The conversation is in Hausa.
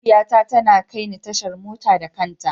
Mahaifiyata tana kai ni tashar mota da kanta.